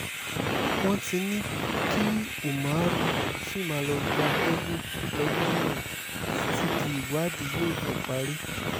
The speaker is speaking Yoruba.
wọ́n ti ní kí umar ṣì máa lọ́ọ́ gbatẹ́gùn lọ́gbà ẹ̀wọ̀n títí di ìwádìí yóò fi parí